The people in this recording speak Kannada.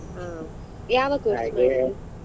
ಹ ಯಾವ course ?